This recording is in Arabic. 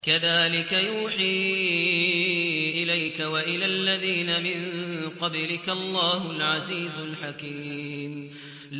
كَذَٰلِكَ يُوحِي إِلَيْكَ وَإِلَى الَّذِينَ مِن قَبْلِكَ اللَّهُ الْعَزِيزُ الْحَكِيمُ